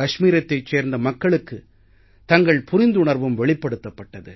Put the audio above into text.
கஷ்மீரத்தைச் சேர்ந்த மக்களுக்குத் தங்கள் புரிந்துணர்வும் வெளிப்படுத்தப்பட்டது